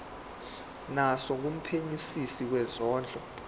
naso kumphenyisisi wezondlo